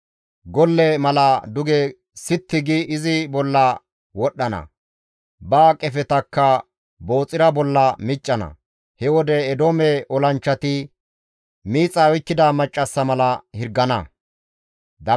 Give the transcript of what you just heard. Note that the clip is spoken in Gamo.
Golle mala duge sitti gi izi bolla wodhdhana; ba qefetakka Booxira bolla miccana; he wode Eedoome olanchchati miixay oykkida maccassa mala hirgana.